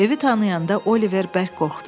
Evi tanıyanda Oliver bərk qorxdu.